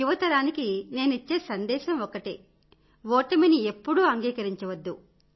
యువతరానికి నేనిచ్చే సందేశం ఒకటే ఓటనిమి ఎప్పుడూ అంగీకరించద్దు